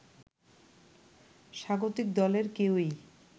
স্বাগতিক দলের কেউই